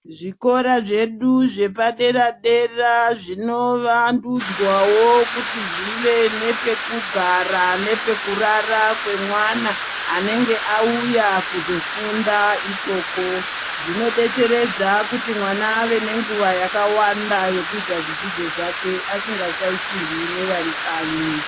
Zvikora zvedu zvepadera-dera zvinovandudzwawo kuti zvive nepekugara nepekurara kwemwana anenge auya kuzofunda ikoko. Zvinodetseredza kuti mwana ave nenguwa yakawanda yekuita zvidzidzo zvake asingashaishirwi nevari kanyi.